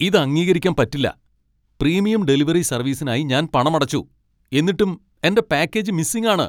ഇത് അംഗീകരിക്കാൻ പറ്റില്ല ! പ്രീമിയം ഡെലിവറി സർവീസിനായി ഞാൻ പണമടച്ചു, എന്നിട്ടും എന്റെ പാക്കേജ് മിസ്സിംഗ് ആണ് !